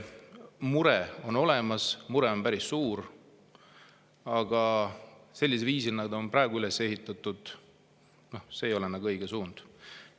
Mure on olemas, mure on päris suur, aga sellisel viisil üles ehitatud avaldus ei ole nagu õiges suunas.